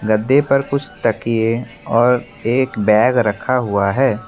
गद्दे पर कुछ तकिए और एक बैग रखा हुआ है।